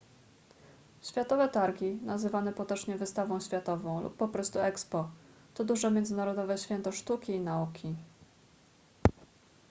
światowe targi nazywane potocznie wystawą światową lub po prostu expo to duże międzynarodowe święto sztuki i nauki